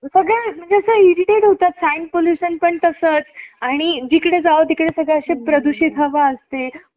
प्रशिक्षकांना दिला जातो या पुरस्काराची स्थापना एकोणावीसशे पंच्याऐंशीमध्ये झाली. ध्यानचंद पुरस्कार आ~ आजीवन योगदानासाठी दिला जातो.